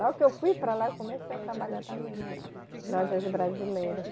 Logo que eu fui para lá eu comecei a trabalhar também na, nas lojas brasileiras.